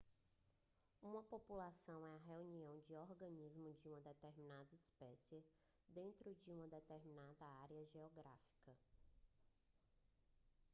uma população é a reunião de organismos de uma determinada espécie dentro de uma determinada área geográfica